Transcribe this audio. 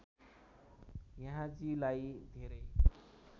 यहाँजीलाई धेरै